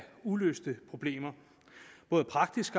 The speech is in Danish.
uløste problemer af både praktisk